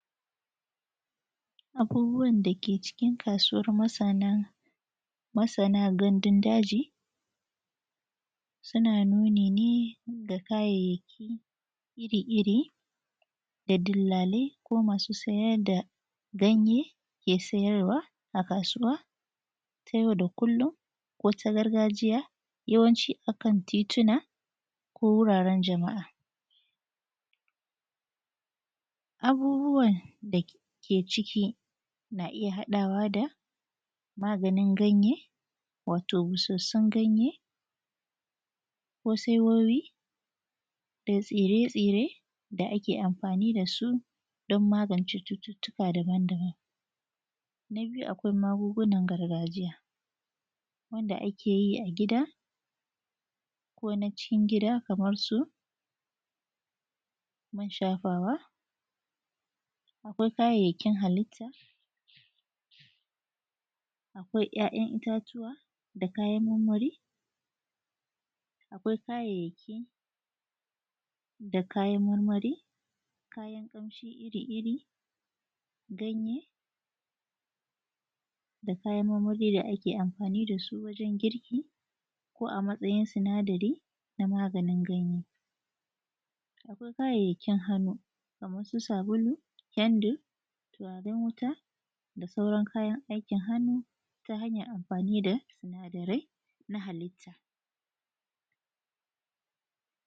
abubuwan da ke cikin kasuwar masana gandun daji su na nuni ne ga kayayyaki iri iri da dillalai ko masu siyar da ganye ke siyarwa a kasuwa ta yau da kullum ko ta yawanci a kan titina ko wuraren jama’a abubuwan da ke ciki na iya haɗawa da maganin ganye wato busassun ganye ko saiwowi da tsire tsire da ake amfani da su don magance cututtuka daban daban na biyu akwai magungunan gargajiya wanda ake yi a gida ko na cikin gida kamar su man shafawa akwai kayayyakin halitta akwai ‘ya’yan itatuwa da kayan marmari akwai kayayyaki da kayan marmari kayan ƙamshi iri iri ganye da kayan marmari da ake amfani da su wajan girki ko a matsayin sinadari na maganin ganye akwai kayayyaki hannu kaman su sabulu kendir turaren wuta da sauran kayan aikin hannu ta hanyar amfani da sinadarai na halitta